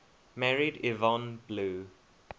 married yvonne blue